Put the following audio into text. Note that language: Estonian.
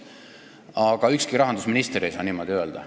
Aga ükski rahandusminister ei tohiks niimoodi öelda.